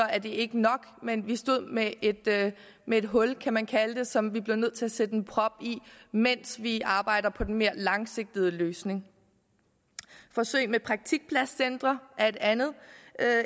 er det ikke nok men vi stod med et med et hul kan man kalde det som vi blev nødt til at sætte en prop i mens vi arbejder på den mere langsigtede løsning forsøg med praktikpladscentre er et andet